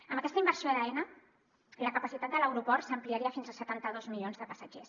amb aquesta inversió d’aena la capacitat de l’aeroport s’ampliaria fins a setanta dos milions de passatgers